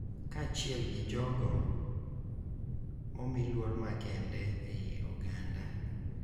Kaachiel gi jogo momi luor makende e I oganda.